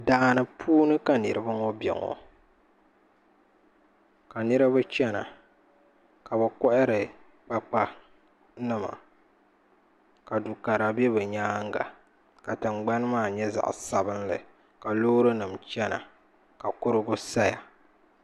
Daani puuni ka niraba ŋo bɛ ŋo ka niraba chɛna ka bi kohari kpakpa nima ka dukara bɛ bi nyaanga ka tingbani maa nyɛ zaɣ sabinli ka loori nim chɛna ka kurigu saya